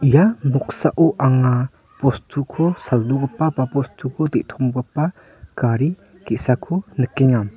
ia noksao anga bostuko saldogipa ba bostuko de·tomgipa gari ge·sako nikenga.